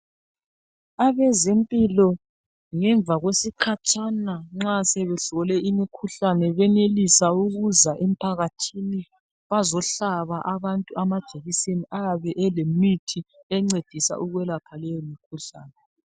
Abezempilo ngemva kwesikhatshana nxa sebesole imikhuhlane benelisa ukuza emphakathini bazohlaba abantu amajekiseni ayabe elemithi encedisa ukwelapha leyo mkhuhlane.